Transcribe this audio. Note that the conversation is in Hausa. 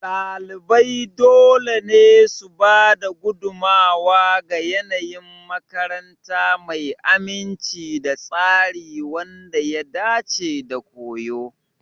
Ɗalibai dole ne su ba da gudummawa ga yanayin makaranta mai aminci da tsari wanda ya dace da koyo.